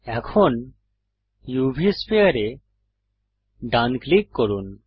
এখন উভ স্ফিয়ার এ ডান ক্লিক করুন